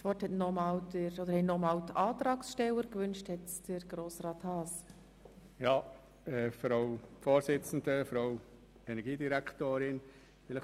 Grossrat Haas hat als Antragsteller noch einmal das Wort gewünscht.